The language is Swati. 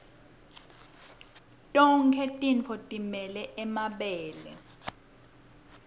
tonkhe tintfombi time mabele